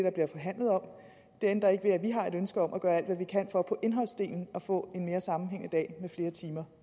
ændrer ikke ved at vi har et ønske om at gøre alt hvad vi kan for på indholdsdelen at få en mere sammenhængende dag med flere timer